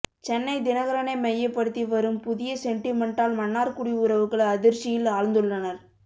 சென்னை தினகரனை மையப்படுத்தி வரும் புதிய சென்டிமெண்ட்டால் மன்னார்குடி உறவுகள் அதிர்ச்சியில் ஆழ்ந்துள்ளனர்